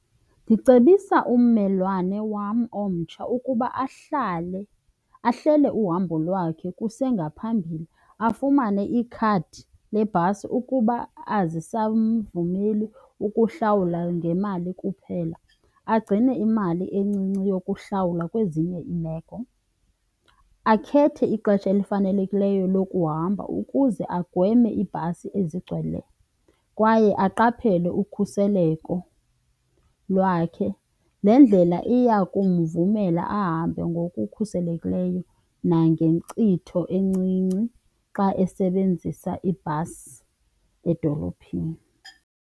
Ndicebisa ummelwane wam omtsha ukuba ahlele uhambo lwakhe kusengaphambili, afumane ikhadi lebhasi ukuba azisamvumeli ukuhlawula ngemali kuphela, agcine imali encinci yokuhlawula kwezinye iimeko. Akhethe ixesha elifanelekileyo lokuhamba ukuze agweme ibhasi ezigcweleyo kwaye aqaphele ukhuseleko lwakhe. Le ndlela iyakumvumela ahambe ngokukhuselekileyo nangenkcitho encinci xa esebenzisa ibhasi edolophini.